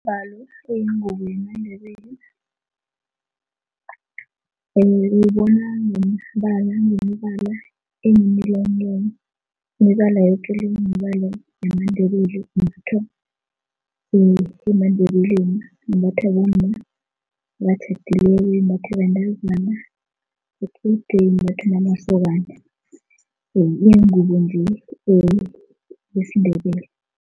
Umbhalo uyingubo yamaNdebele uwubona ngemibala ngemibala enemi-line line. Imibala yoke le mibala yamaNdebele imbathwa emaNdebeleni, imbathwa bomma abatjhadileko, imbathwa bentazana equdeni, imbathwe namasokana ingubo nje yesiNdebele.